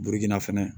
Biriki na fɛnɛ